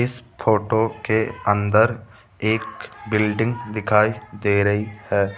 इस फोटो के अंदर एक बिल्डिंग दिखाई दे रही है।